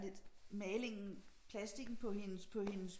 Der er lidt malingen plastikken på hendes på hendes